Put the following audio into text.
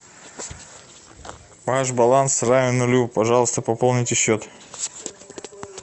ваш баланс равен нулю пожалуйста пополните счет